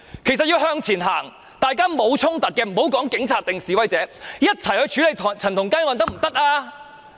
其實要往前走，大家沒有衝突，無分警察或示威者，一起去處理陳同佳案可以嗎？